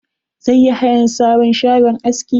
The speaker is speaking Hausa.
Zai yi hayan sabon shagon aski.